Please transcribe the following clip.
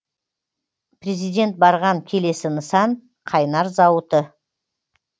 президент барған келесі нысан қайнар зауыты